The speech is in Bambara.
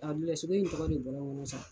sogo in tɔgɔ de bɔra n kɔnɔn sa.